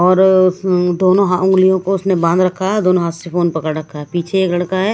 और उस दो हा अंगुलियों को उसने बांध रखा है दोनों हाथ से फोन पकड़ रखा है पीछे एक लड़का है।